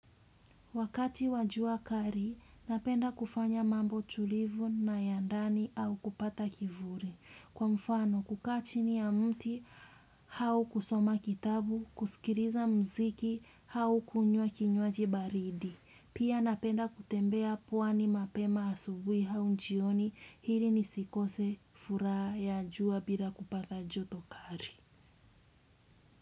Wakati wajua kali, napenda kufanya mambo tulivu na yandani au kupata kivuli. Kwa mfano, kukaachi ni ya mti, au kusoma kitabu, kusikiliza muziki, au kunywa kinywaji baridi. Pia napenda kutembea pwani mapema asubuhi au jioni, ili ni sikose furaha ya jua bila kupata joto kali.